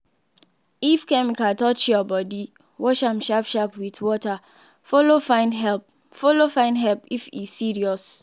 if chemical touch your body wash am sharp sharp with water follow find help follow find help if e serious.